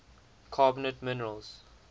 carbonate minerals